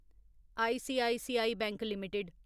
ICICI bank limited